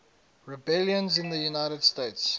rebellions in the united states